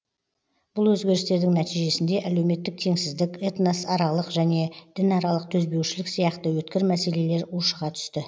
бұл өзгерістердің нәтижесінде әлеуметтік теңсіздік этносаралық және дінаралық төзбеушілік сияқты өткір мәселелер ушыға түсті